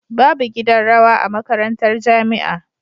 Babu gidan rawa a makarantar jamia